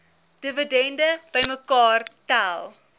dividende bymekaar tel